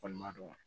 Kɔni ma dɔn